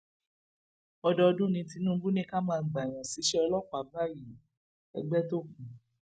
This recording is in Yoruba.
ọdọọdún ní tinubu ní ká máa gbààyàn ṣíṣe ọlọpàá báyìíègbétókùn